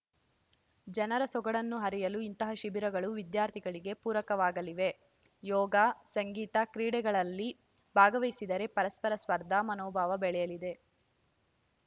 ಜನರ ಸೊಗಡನ್ನು ಅರಿಯಲು ಇಂತಹ ಶಿಬಿರಗಳು ವಿದ್ಯಾರ್ಥಿಗಳಿಗೆ ಪೂರಕವಾಗಲಿವೆ ಯೋಗ ಸಂಗೀತ ಕ್ರೀಡೆಗಳಲ್ಲಿ ಭಾಗವಹಿಸಿದರೆ ಪರಸ್ಪರ ಸ್ಪರ್ಧಾ ಮನೋಭಾವನೆ ಬೆಳೆಯಲಿದೆ